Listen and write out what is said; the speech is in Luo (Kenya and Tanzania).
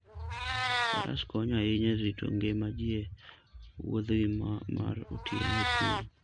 Faras konyo ahinya e rito ngima ji e wuodhgi mar otieno e thim.